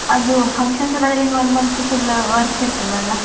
ಅದು function ಇರುವವರೆಗೆ one month full work ಇರ್ತದಲ್ಲ.